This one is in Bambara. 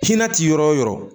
Fiɲɛ ti yɔrɔ o yɔrɔ